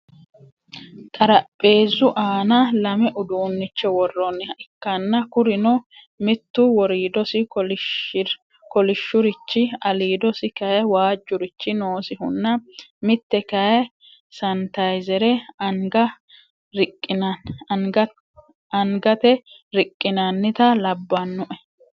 Xaraapheezu aana lame uduunnicho worroniha ikkanna kurino mittu woriidosi kolishurichi aliidosi kayii waajurichi noosihunna mitte kayii sanitayizera angate riqqinanitta labbanoe